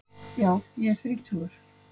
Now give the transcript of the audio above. Já ég er þrítugur.